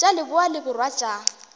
tša leboa le borwa tša